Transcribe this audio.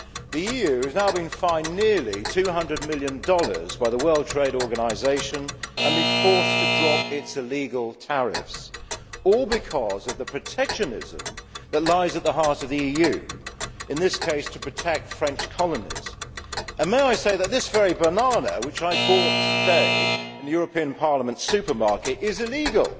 The EU has now been fined nearly USD 200 million by the World Trade Organisation and been forced to drop its illegal tariffs all because of the protectionism that lies at the heart of the EU, in this case protection of French colonies. May I say that this very banana which I bought today in the European Parliament supermarket is illegal!